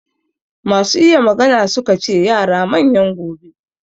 Masu iya magana su ka ce yara manyan gobe.